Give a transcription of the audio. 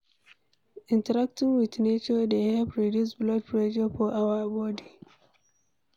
Interacting with nature dey help reduce blood pressure for our body